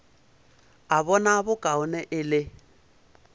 a bona bokaone e le